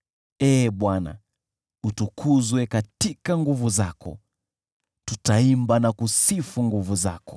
Ee Bwana , utukuzwe katika nguvu zako, tutaimba na kusifu nguvu zako.